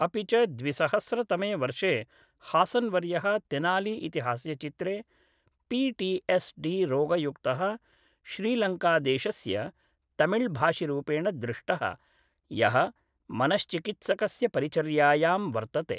अपि च द्विसहस्रतमे वर्षे हासन्वर्यः तेनाली इति हास्यचित्रे पी टी एस् डी रोगयुक्तः श्रीलङ्कादेशस्य तमिळ् भाषिरूपेण दृष्टः यः मनश्चिकित्सकस्य परिचर्यायां वर्तते